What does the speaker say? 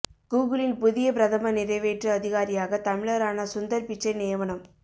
கூகுளின் புதிய பிரதம நிறைவேற்று அதிகாரியாக தமிழரான சுந்தர் பிச்சை நியமனம்